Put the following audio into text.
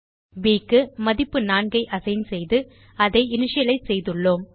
ப் க்கு மதிப்பு 4 ஐ அசைன் செய்து அதை இனிஷியலைஸ் செய்துள்ளோம்